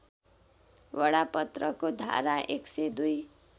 बडापत्रको धारा १०२